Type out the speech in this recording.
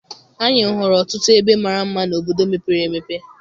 Anyị hụrụ ọtụtụ ebe mara mma n'obodo mepere emepe.